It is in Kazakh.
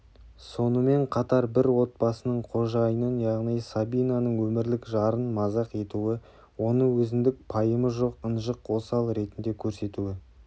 сонымен қатар бір отбасының қожайынын яғни сабинаның өмірлік жарын мазақ етуі оны өзіндік пайымы жоқ ынжық осал ретінде көрсетуі